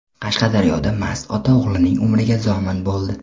Qashqadaryoda mast ota o‘g‘lining umriga zomin bo‘ldi.